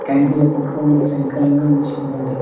ಟ್ಯಾಂಕಿಯ ಪಕ್ಕ ಒಂದು ಸೈಕಲ್ಲನ್ನು ನಿಲ್ಲಿಸಿದ್ದಾರೆ.